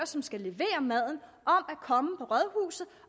som skal levere maden